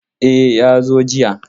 E, ya zo jiya.